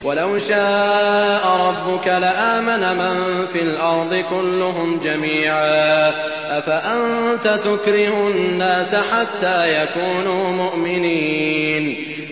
وَلَوْ شَاءَ رَبُّكَ لَآمَنَ مَن فِي الْأَرْضِ كُلُّهُمْ جَمِيعًا ۚ أَفَأَنتَ تُكْرِهُ النَّاسَ حَتَّىٰ يَكُونُوا مُؤْمِنِينَ